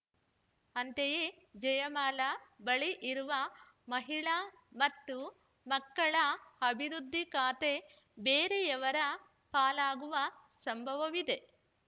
ಅಂತೆಯೇ ಜಯಮಾಲಾ ಬಳಿ ಇರುವ ಮಹಿಳಾ ಮತ್ತು ಮಕ್ಕಳ ಅಭಿವೃದ್ಧಿ ಖಾತೆ ಬೇರೆಯವರ ಪಾಲಾಗುವ ಸಂಭವವಿದೆ